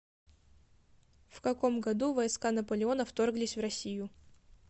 в каком году войска наполеона вторглись в россию